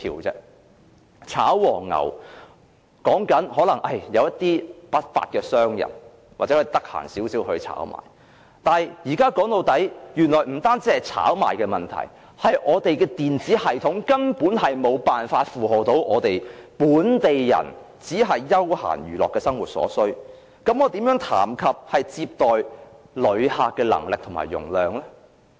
所謂"炒黃牛"，說的可能只是一些不法商人，或比較有空的人來炒賣，但說到底，現在不僅是炒賣的問題，而是我們的電子系統根本無法應付本地人只是休閒娛樂的生活所需，那麼，我們又如何談論接待旅客的能力和容量呢？